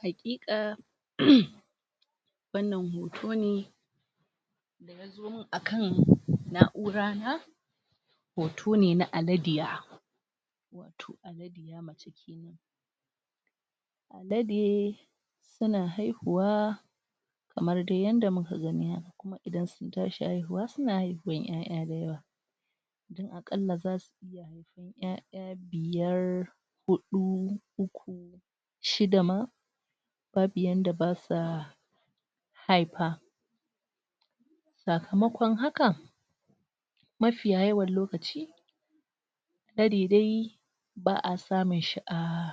Haƙiƙa umm wannan hoto ne da yazo min akan na'ura na hoto ne na aladiya. wato aladiya mace kenan. Alade su na haihuwa kamar dai yadda muka gani kuma idan sun tashi haihuwa, su na haihuwan 'ya'ya da yawa. Aƙallla za su 'ya'ya biyar huɗu, uku shida ma babu yadda ba sa haifa. Sakamakon haka, mafiya yawan lokaci, alade dai ba samun shi a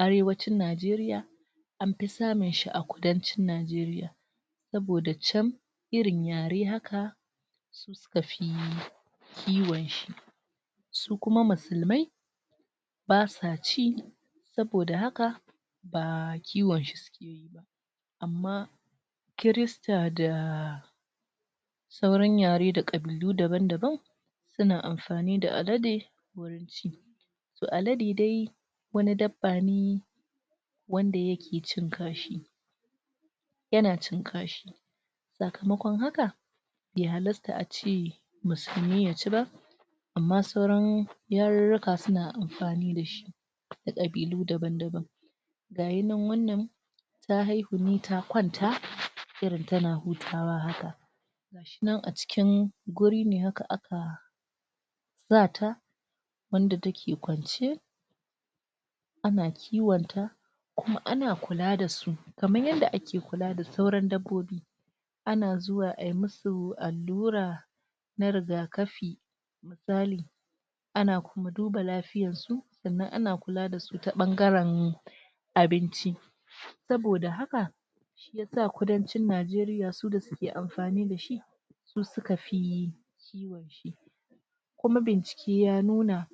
arewacin Najeriya anfi samun shi a kudancin Najeriya. Daboda can irin yare haka, su suka fi kiwonshi. Su kuma musulmai, ba sa ci, saboda haka baa kiwonshi suke yi ba. Amma, Kirista daa sauran yare da ƙabilu daban-daban, su na amfani da Alade, wurin ci. To Alade dai wani dabba ne wanda yake cin kashi. Yana cin kashi sakamakon haka, bai halasta ace Musulmi yaci ba amma sauran yaruruka su na amfani dashi. da ƙabilu daban-daban. Gayi nan wannan ta haihu ne, ta kwanta irin tana hutawa haka.. Ga shi nan a cikin guri ne haka aka za ta wanda take kwance a na kiwonta kuma ana kula da su kamar yadda ake kula da sauran dabbobi. ana zuwa ayi mmusu allura na riga kafi ana kuma duba lafiyarsu sannan ana kula dasu ta ɓangaren abinci saboda haka, shiyasa kudancin Najeriya su da suke amfani dashi, su su kafi kiwonshi. Kuma bincike ya nuna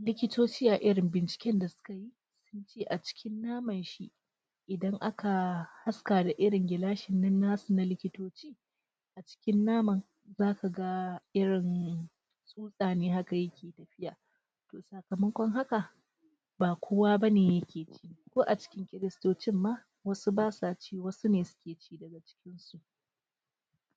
likitoci a irin binciken da su kayi sunce acikin naman shi idan aka haska da irin gilashin nan nasu na likitoci. cikin nama zasu ga irin tsota ne haka yake tafiya. sakamakon haka, ba kowa bane yake ci. ko aci cikin Kiristocin ma, wasu ba sa ci, wasu ne suke ci.